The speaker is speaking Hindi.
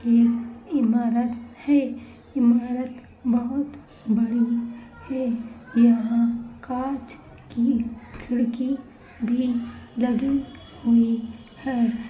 यह ईमारत है। ईमारत बहुत बड़ी है। यहाँ काँच की खिड़की भी लगी हुई है।